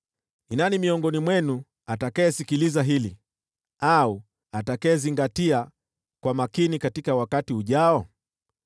Ni nani miongoni mwenu atakayesikiliza hili, au atakayezingatia kwa makini katika wakati ujao?